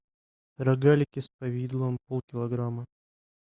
рогалики с повидлом полкилограмма